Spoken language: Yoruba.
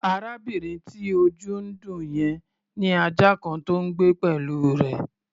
Arábìnrin tí ojú ń dùn yẹn ní ajá kan tó ń gbé pẹ̀lú rẹ̀.